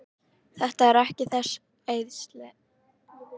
Þetta er ekki þess eðlis.